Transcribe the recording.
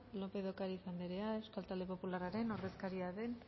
lópez de ocariz andrea euskal talde popularraren